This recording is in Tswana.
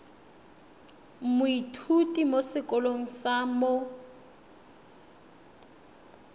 moithuti mo sekolong sa mo